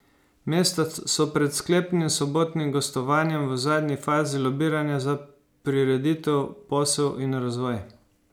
Mesta so pred sklepnim sobotnim gostovanjem v zadnji fazi lobiranja za prireditev, posel in razvoj.